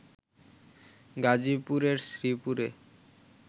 গাজীপুরের শ্রীপুরে